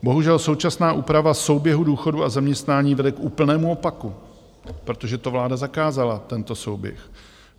Bohužel současná úprava souběhu důchodu a zaměstnání vede k úplnému opaku, protože to vláda zakázala, tento souběh.